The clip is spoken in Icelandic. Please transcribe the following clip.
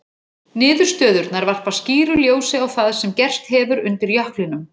Niðurstöðurnar varpa skýru ljósi á það sem gerst hefur undir jöklinum.